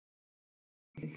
Þinn Aron Atli.